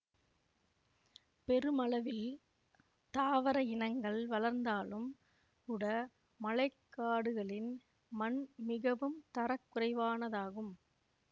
பெருமளவில் தாவர இனங்கள் வளர்ந்தாலும் கூட மழைக்காடுகளின் மண் மிகவும் தர குறைவானதாகும்